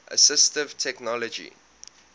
assistive technology